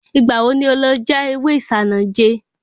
Ìgbà wo ni o lọ já ewé Isanaje?